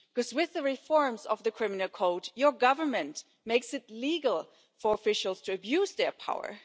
With the reforms of the Romanian Criminal Code, your government is making it legal for officials to abuse their power.